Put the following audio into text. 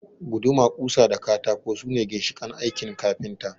Guduma, ƙusa da katako su ne ginshiƙan aikin kafinta